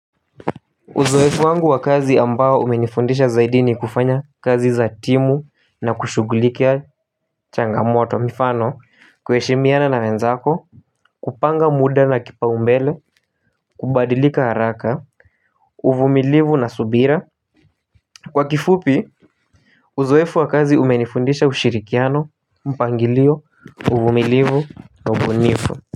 Uzoefu wangu wa kazi ambao umenifundisha zaidi ni kufanya kazi za timu na kushughulikia changamoto, mifano kwa kuheshimiana na wenzako. Kupanga muda na kipaumbele kubadilika haraka, uvumilivu na subira. Kwa kifupi, uzoefu wa kazi umenifundisha ushirikiano, mpangilio, uvumilivu na ubunifu.